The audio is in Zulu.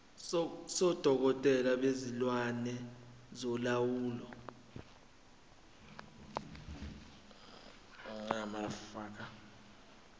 sodokotela bezilwane solawulo